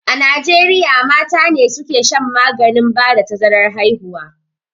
A najieriya mata ne suka shan maganin ba da tazarar haihuwa